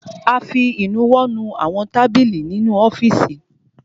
A fi ìnuwọ́ nu àwọn tábìlì inú ọ́fìsì.